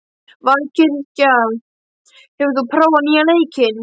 Valkyrja, hefur þú prófað nýja leikinn?